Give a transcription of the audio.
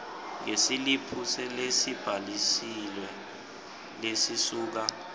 yesiliphu lesibhalisiwe lesisuka